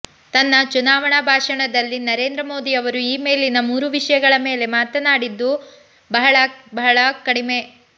ತನ್ನ ಚುನಾವಣಾ ಭಾಷಣದಲ್ಲಿ ನರೇಂದ್ರ ಮೋದಿಯವರು ಈ ಮೇಲಿನ ಮೂರೂ ವಿಷಯಗಳ ಮೇಲೆ ಮಾತಾಡಿದ್ದು ಬಹಳ ಬಹಳ ಕಡಿಮೆ